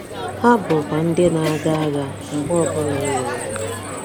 Ha bụkwa ndị na-aga agha mgbe ọbụla e nwere ọgụ.